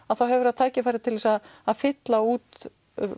þá hefur það tækifæri til að að fylla út